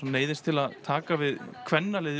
neyðist til að taka við kvennaliði